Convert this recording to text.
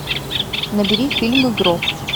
набери фильм игрок